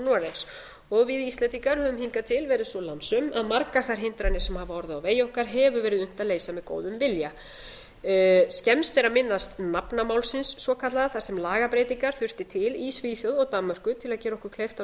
þó við íslendingar höfum hingað til verið svo lánsöm að margar þær hindranir sem hafa orðið á vegi okkar hefur verið unnt að leysa með góðum vilja skemmst er að minnast nafnamálsins svokallaða þar sem lagabreytingar þurfti til í svíþjóð og danmörku til að gera okkur kleift að